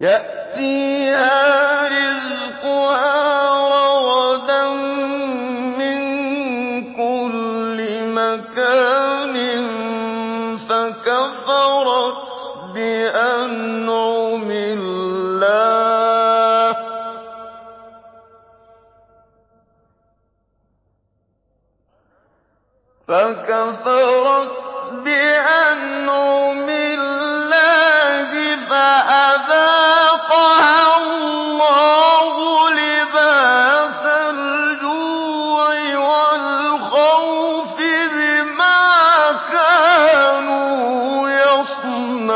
يَأْتِيهَا رِزْقُهَا رَغَدًا مِّن كُلِّ مَكَانٍ فَكَفَرَتْ بِأَنْعُمِ اللَّهِ فَأَذَاقَهَا اللَّهُ لِبَاسَ الْجُوعِ وَالْخَوْفِ بِمَا كَانُوا يَصْنَعُونَ